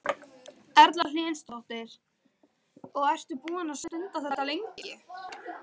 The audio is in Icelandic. Erla Hlynsdóttir: Og ertu búinn að stunda þetta lengi?